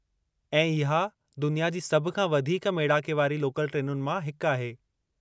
ऐं इहा दुनिया जी सभु खां वधीकु मेड़ाके वारी लोकल ट्रेनुनि मां हिकु आहे।